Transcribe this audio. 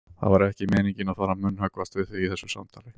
Það var ekki meiningin að fara að munnhöggvast við þig í þessu samtali.